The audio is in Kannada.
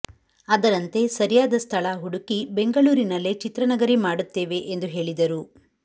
ಅದರಂತೆ ಸರಿಯಾದ ಸ್ಥಳ ಹುಡುಕಿ ಬೆಂಗಳೂರಿನಲ್ಲೇ ಚಿತ್ರನಗರಿ ಮಾಡುತ್ತೇವೆ ಎಂದು ಹೇಳಿದರು